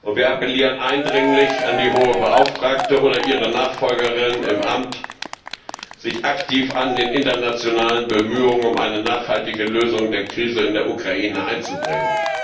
Wir appellieren eindringlich an die Hohe Beauftragte oder ihre Nachfolgerin im Amt, sich aktiv an den internationalen Bemühungen um eine nachhaltige Lösung der Krise in der Ukraine einzubringen.